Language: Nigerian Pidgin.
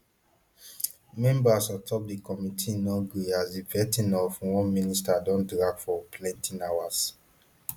members on top di committee no gree as di vetting of one minister don drag for plenty hours